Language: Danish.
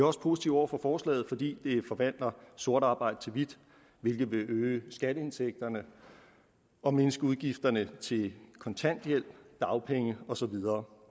også positive over for forslaget fordi det forvandler sort arbejde til hvidt hvilket vil øge skatteindtægterne og mindske udgifterne til kontanthjælp dagpenge og så videre